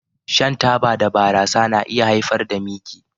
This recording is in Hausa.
Shan taba da barasa na iya haifar da miki